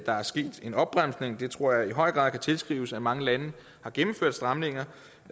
er sket en opbremsning tror jeg i høj grad kan tilskrives at mange lande har gennemført stramninger